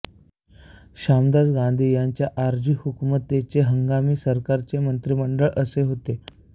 शामळदास गांधी यांच्या आरज़ी हुकूमतचे हंगामी सरकारचे मंत्रिमंडळ असे होते